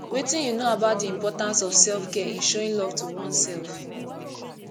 wetin you know about di importance of selfcare in showing love to oneself